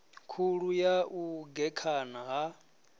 khulu ya u gekhana ha